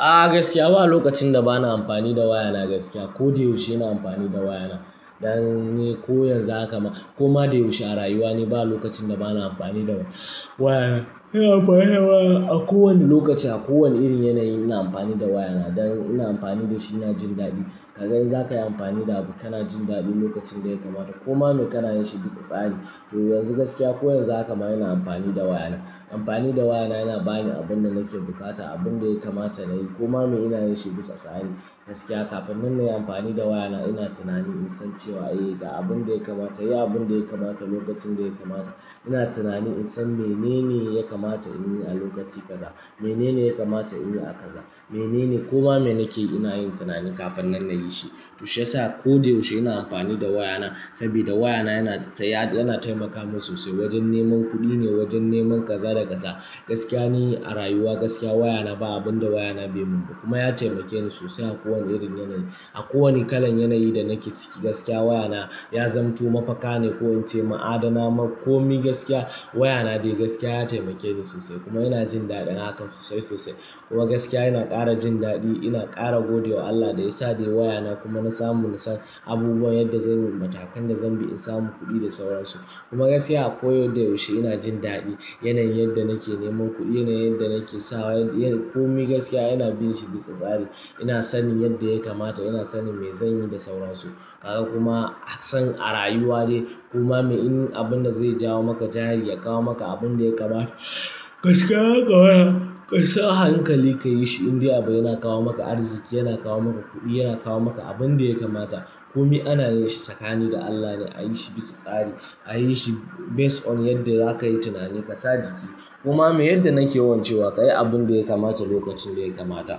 A gaskiya ba lokacin da ba na amfani da waya na gaskiya. Ko da yaushe ina amfani da waya na. Dan ko yanzu haka ma koma da yaushe a rayuwa ne. Ba lokacin da ba na amfani da waya na. Ina amfani da waya na a kowane lokaci, a kowane irin yanayi ina amfani da waya na. Dan ina amfani dashi ina jin dadi. Kaga in zaka yi amfani da abu kana jin daɗi lokacin da ya kamata ko ma me kana yin shi bisa tsari. To yanzu gaskiya ko yanzu haka ma ina amfani da waya na. Amfani da waya na yana bani abin da nake bukata, abin da ya kamata na yi ko ko ma me ina yin shi bisa tsari. Gaskiya kafin nan nayi amfani da waya na ina tunani in san cewa eh ga abin da ya kamata, yi abin da ya kamata lokacin da ya kamata. Ina tunani in san menene ya kamata in yi a lokaci kaza, menene ya kamata in yi a kaza, menene ko koma me nake ina yin tunani kafin nan na yi shi. To shi ya sa ko da yaushe ina amfani da waya na saboda waya na yana taimaka min sosai wajen neman kuɗi ne, wajen neman kaza da kaza. Gaskiya ni a rayuwa gaskiya waya na ba abin da waya na bai mun ba kuma ya taimake ni sosai a kowane irin yanayi. A kowane kalan yanayi da nake ciki gaskiya waya na ya zamanto mafaka ne, ko'in ce ma'adana ma komi gaskiya waya na dai gaskiya ya taimake ni sosai kuma ina jin daɗin hakan sosai sosai. Kuma gaskiya ina ƙara jin daɗi, ina ƙara godiya wa Allah da ya sade waya na kuma na samu in san abubuwan yadda zai matakan da zan bi in samu kuɗi da sauransu. Kuma gaskiya a koyaushe ina jin daɗi. Yanayin yadda nake neman kudi, yanayin yadda nake sawa komai gaskiya ina yin shi bisa tsari. Ina sanin yadda ya kamata ina sanin me zanyi da sauran su. Kaga kuma a san a rayuwa dai kuma me in abin da zai jawo maka jari, ya kawo maka abin da ya kamata. Gaskiya haka waya, ka sa hankali ka yi shi indai abu yana kawo maka arziki, yana kawo maka kuɗi, yana kawo maka abin da ya kamata. Komi ana yin shi tsakani da Allah ne, a yi shi bisa tsari, a yi shi base on yadda za ka yi tunani ka sadigi. Kuma me yadda nake yawan cewa ka yi abin da ya kamata lokacin da ya kamata.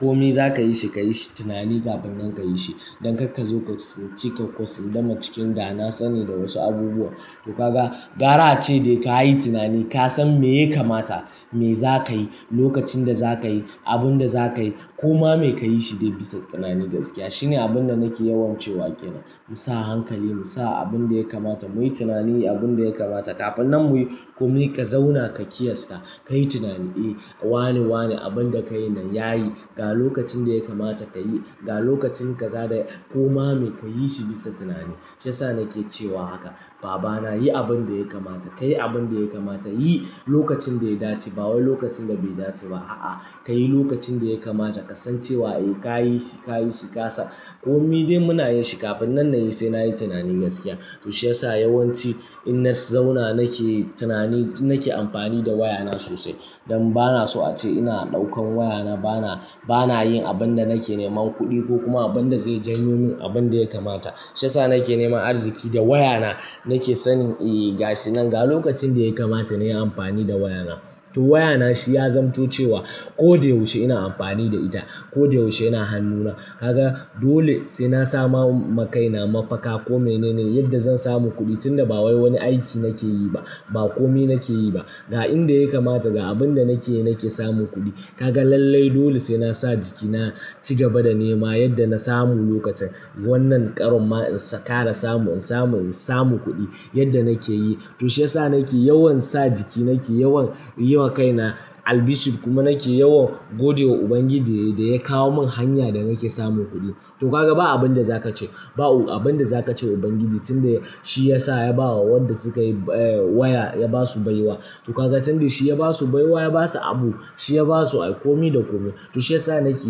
Komi za ka yi shi, ka yi shi tunani kafin nan ka yi shi. Don kar ka zo ka sinci ko sunduma cikin da na sani da wasu abubuwa. To kaga gara a ce dai ka yi tunani, ka san me ya kamata, me za ka yi, lokacin da za ka yi, abin da za ka yi ko kuma me ka yi shi dai bisa tunani gaskiya. Shine abin da nake yawan cewa ke nan. Mu sa hankali, mu sa abin da ya kamata. Mu yi tunani abin da ya kamata kafin nan mu yi. Kumi ka zauna ka kiyasta, ka yi tunani eh wane wane abin da ka yi nan ya yi. Ga lokacin da ya kamata ka yi, ga lokacin kaza da ya-- ko ma me ka yi shi bisa tunani. To shi yasa nake cewa haka. Baba na yi abin da ya kamata, ka yi abin da ya kamata, yi lokacin da ya dace. Ba wai lokacin da bai dace ba. A'a, ka yi lokacin da ya kamata ka san cewa eh ka yi shi, ka yi shi kasa. Komi dai muna yin shi kafin nan na yi sai na yi tunani gaskiya. To shi ya sa yawanci inna zauna nake tunani, nake amfani da waya na sosai. Don ba na so a ce ina ɗaukan waya na, ba na, ba na yin abin da nake neman kuɗi ko kuma abin da zai jan yo min abin da ya kamata. Toshe sa nake neman arziki da waya na. Nake sanin eh gashi nan ga lokacin da ya kamata na yi amfani da waya na. To waya na shi ya zamanto cewa ko da yaushe ina amfani da ita, ko da yaushe yana hannuna. Ka ga dole saina saman ma kaina mafaka ko mene ne yadda zan samu kudi tunda ba wai wani aiki nake yi ba, ba komi nake yi ba ga inda ya kamata, ga abin da nake yi nake samun kuɗi. Kaga lallai dole sai na sa jiki na ci gaba da nema yadda na samu lokacin wannan ƙaron ma in ƙara samu, samu, samu kuɗi yadda nake yi. To shi yasa nake yawan sa jiki, nake yawan yi wa kaina albishir kuma nake yawan godiya wa Ubangiji da ya kawo mun hanya da nake samun kuɗi. To kaga ba abun da zakace, ba abun da zaka ce wa ubangiji tun da shiyasa ya ba wa wayanda suka eh, shi ya basu baiwa to kaga tunda shi ya ba su baiwa, ya ba su abu, shi ya ba su komi da komi. To shi yasa nake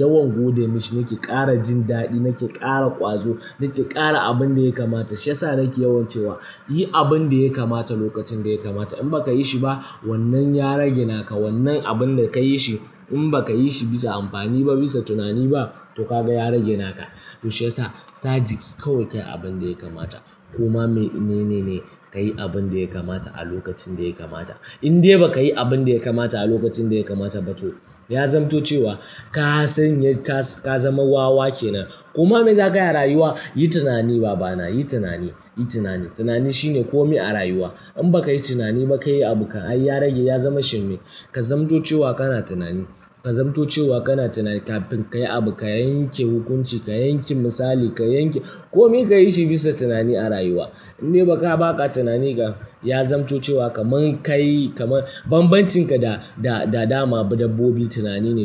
yawan gode mishi, nake ƙara jin daɗi, nake ƙara ƙwazo, nake ƙara abin da ya kamata. Toshe sa nake yawan cewa yi abin da ya kamata lokacin da ya kamata. In ba ka yi shi ba wannan ya rage naka, wannan abin da ka yi shi in ba ka yi shi bisa amfani ba, bisa tunani ba to kaga ya rage naka. To shi yasa, sa jiki kawai ka yi abin da ya kamata. Koma me inene ne ka yi abin da ya kamata a lokacin da ya kamata. Indai ba ka yi abin da ya kamata a lokacin da ya kamata ba to ya zamanto cewa ka sanya ka, ka zama wawa ke nan. Kuma me za ka yi a rayuwa? Yi tunani baba na, yi tunani, yi tunani. Tunani shine komi a rayuwa. In ba ka yi tunani ba ka yi abu kam ai ya rage, ya zama shirme. Ka zamanto cewa kana tunani, ka zamanto cewa kana tunani kafin ka yi abu, ka yanke hukunci, ka yanke misali, ka yanke komi ka yi shi bisa tunani a rayuwa. Indai ba ka baƙa tunani ga ya zamanto cewa kaman ka yi, kama banbancin ka da, da dama dabbobi tunani ne.